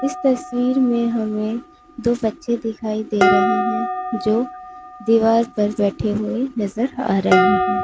इस तस्वीर में हमें दो बच्चे दिखाई दे रहे हैं जो दीवार पर बैठे हुए नजर आ रहे हैं।